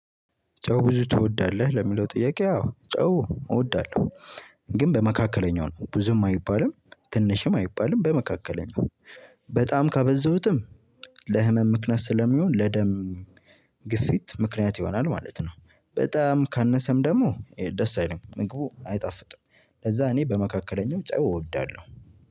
ጨው ብዙ ትወዳለህ ለሚለው ጥያቄ አወ ጨው እወዳለሁ። ግን በመካከለኛው ነው ብዙም አይባልም ትንሽም አይባልም በመካከለኛው በጣም ካበዛሁትም ለህመም ምክንያት ስለሚሆን። ለደም ግፊት ምክንያት ይሆናል ማለት ነው። በጣም ካነሰም ደግሞ ደስ አይልም ምግቡ አይጣፍጥም። ለዛ እኔ በመካከለኛው ጨው እወዳለሁ።